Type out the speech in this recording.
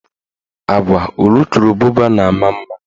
Agwa ulukurububa na ama mma.